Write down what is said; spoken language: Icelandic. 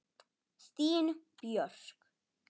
Þín Björk.